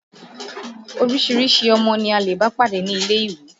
Oríṣiríṣi ọmọ ni a lè bá pàdé ní ilé-ìwé